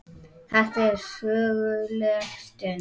Þetta er söguleg stund.